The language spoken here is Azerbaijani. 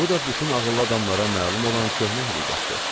Bu da bütün ağıllı adamlara məlum olan köhnə həqiqətdir.